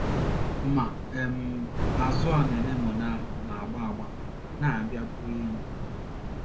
Ma um, azụ̀ a na anemone ahụ na - agba agba na - abịa bụrụ enyi.